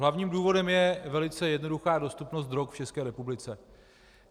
Hlavním důvodem je velice jednoduchá dostupnost drog v České republice.